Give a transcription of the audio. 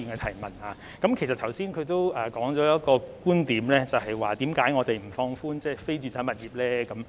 他剛才提到一個觀點，便是為何我們不放寬非住宅物業的"辣招"呢？